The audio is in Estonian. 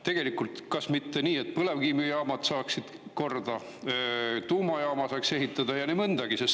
Tegelikult kas mitte nii, et põlevkivijaamad saaksid korda, tuumajaama saaks ehitada ja nii mõndagi?